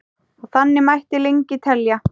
Og þannig mætti lengi telja.